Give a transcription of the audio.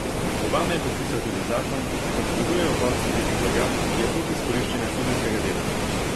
Obama je podpisal tudi zakon, ki prepoveduje uvoz rib in blaga, ki je plod izkoriščanja suženjskega dela.